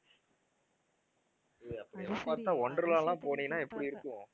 ஏய் அப்படிலாம் பார்த்தா வொண்டர் லா எல்லாம் போனீன்னா எப்படி இருக்கும்